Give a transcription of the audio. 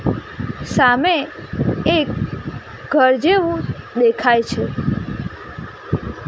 સામે એક ઘર જેવું દેખાય છે.